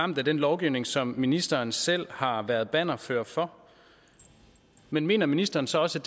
ramt af den lovgivning som ministeren selv har været bannerfører for men mener ministeren så også